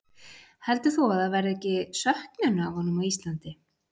Heldur þú að það verði ekki söknun af honum á Íslandi?